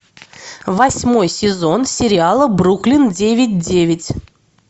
восьмой сезон сериала бруклин девять девять